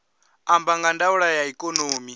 amba nga ndaulo ya ikonomi